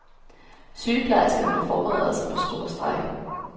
Sygeplejerskerne forbereder sig på storstrejke.